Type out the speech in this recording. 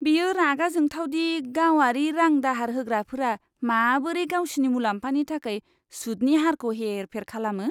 बेयो रागा जोंथाव दि गावारि रां दाहार होग्राफोरा माबोरै गावसिनि मुलाम्फानि थाखाय सुदनि हारखौ हेर फेर खालामो।